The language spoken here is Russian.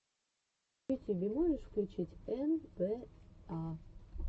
в ютубе можешь включить эн бэ а